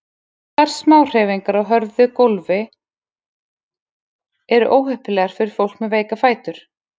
Stöðugar smáhreyfingar á hörðu gófli eru óheppilegar fyrir fólk með veika fætur.